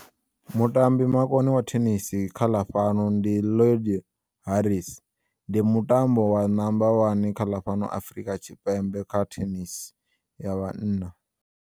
Mutambi makone wa Thenisi khaḽafhano ndi Haris ndi mutambo wa namba wani kha ḽa fhano Afrika Tshipembe kha thenisi ya vhanna.